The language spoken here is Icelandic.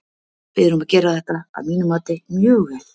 Við erum að gera þetta að mínu mati mjög vel.